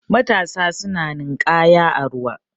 matasa suna ninkaya a ruwa